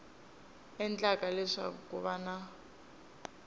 endlaka leswaku ku va na